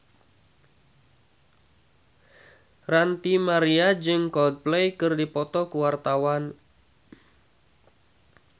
Ranty Maria jeung Coldplay keur dipoto ku wartawan